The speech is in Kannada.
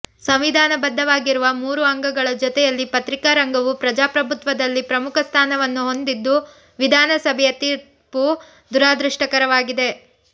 ಸಂವಿಧಾನ ಬದ್ದವಾಗಿರುವ ಮೂರು ಅಂಗಗಳ ಜೊತೆಯಲ್ಲಿ ಪತ್ರಿಕಾ ರಂಗವು ಪ್ರಜಾಪ್ರಭುತ್ವದಲ್ಲಿ ಪ್ರಮುಖ ಸ್ಥಾನವನ್ನು ಹೊಂದಿದ್ದರು ವಿಧಾನ ಸಭೆಯ ತೀರ್ಪು ದುರಾದೃಷ್ಟಕರವಾಗಿದೆ